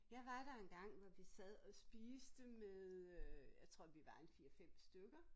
Jeg var der engang hvor vi sad og spiste med øh jeg tror vi var en 4 5 stykker